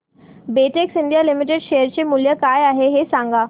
Betex India limited share चे मूल्य काय आहे हे सांगा